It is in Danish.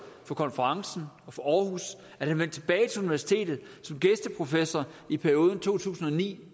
for konferencen og for aarhus at han vendte tilbage til universitetet som gæsteprofessor i perioden fra to tusind og ni